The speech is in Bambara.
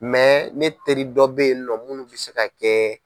ne teri dɔ bɛ yen nɔ munnu bɛ se ka kɛ